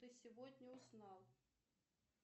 ты сегодня узнал